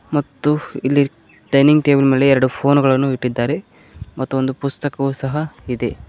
ಮತ್ತು ಇಲ್ಲಿ dining table ಮೇಲೆ ಎರಡು ಫೋನು ಗಳನ್ನು ಇಟ್ಟಿದ್ದಾರೆ ಮತ್ತು ಒಂದು ಪುಸ್ತಕವೂ ಸಹ ಇದೆ.